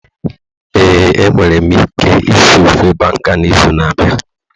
Ee, enwere m ike ịsị ofe Banga n'izu na-abịa